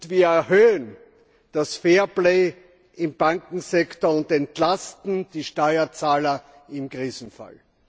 wir erhöhen das Fairplay im Bankensektor und entlasten die Steuerzahler im Krisenfall.